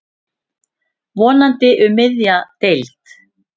Vonandi um miðja deild.